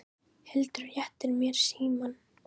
Hildur réttir mér símann.